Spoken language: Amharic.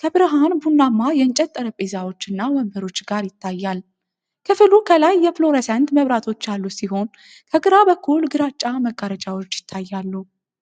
ከብርሃን ቡናማ የእንጨት ጠረጴዛዎች እና ወንበሮች ጋር ይታያል። ክፍሉ ከላይ የፍሎረሰንት መብራቶች ያሉት ሲሆን፤ ከግራ በኩል ግራጫ መጋረጃዎች ይታያሉ።